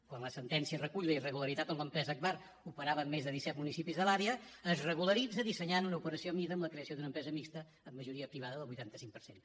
quan la sentència recull la irregularitat on l’empresa agbar operava en més de disset municipis de l’àrea es regularitza dissenyant una operació a mida amb la creació d’una empresa mixta amb majoria privada del vuitanta cinc per cent